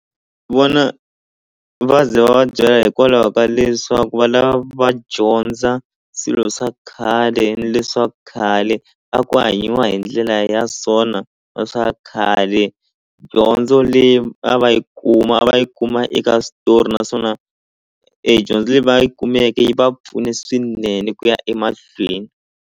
Vona va ze va va byela hikwalaho ka leswaku va lava va dyondza swilo swa khale leswaku khale a ku hanyiwa hi ndlela ya so na na swa khale dyondzo leyi a va yi kuma a va yi kuma eka switori naswona e dyondzo leyi va yi kumeke yi va pfune swinene ku ya emahlweni.